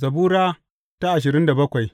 Zabura Sura ashirin da bakwai